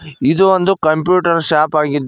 ಇದು ಒಂದು computer shop ಆಗಿದ್ದು--